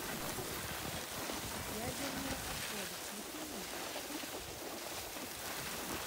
ядерные отходы включи мне